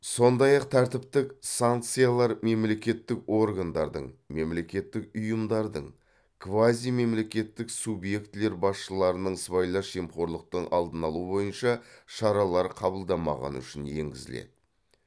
сондай ақ тәртіптік санкциялар мемлекеттік органдардың мемлекеттік ұйымдардың квазимемлекеттік субъектілер басшыларының сыбайлас жемқорлықтың алдын алу бойынша шаралар қабылдамағаны үшін енгізіледі